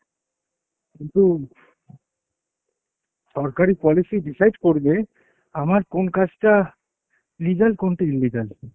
কিন্তু, সরকারি policy decide করবে আমার কোন কাজটা legal কোনটা illegal।